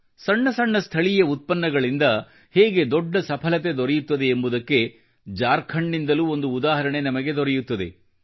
ಸಣ್ಣ ಸಣ್ಣ ಸ್ಥಳೀಯ ಉತ್ಪನ್ನಗಳಿಂದ ಹೇಗೆ ದೊಡ್ಡ ಸಫಲತೆ ದೊರೆಯುತ್ತದೆ ಎಂಬುದಕ್ಕೆ ಜಾರ್ಖಂಡ್ ನಿಂದಲೂ ಒಂದು ಉದಾಹರಣೆ ನಮಗೆ ದೊರೆಯುತ್ತದೆ